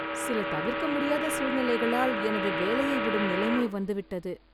சில தவிர்க்க முடியாத சூழ்நிலைகளால் எனது வேலையை விடும் நிலைமை வந்துவிட்டது.